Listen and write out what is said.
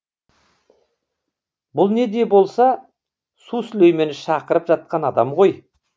бұл не де болса су сүлеймені шақырып жатқан адам ғой